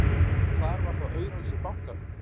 Hvar var þá auraleysi bankanna!